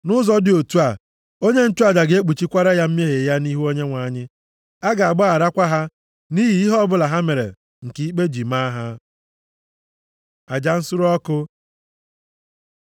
Nʼụzọ dị otu a, onye nchụaja ga-ekpuchikwara ya mmehie ya nʼihu Onyenwe anyị, a ga-agbaghakwara ha nʼihi ihe ọbụla ha mere nke ikpe ji maa ha.” Aja nsure ọkụ